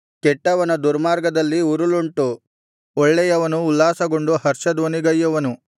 ಕೆಟ್ಟವನ ದುರ್ಮಾರ್ಗದಲ್ಲಿ ಉರುಲುಂಟು ಒಳ್ಳೆಯವನು ಉಲ್ಲಾಸಗೊಂಡು ಹರ್ಷಧ್ವನಿಗೈಯುವನು